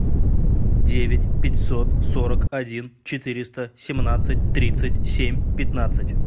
девять пятьсот сорок один четыреста семнадцать тридцать семь пятнадцать